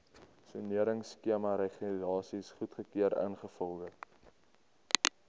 soneringskemaregulasies goedgekeur ingevolge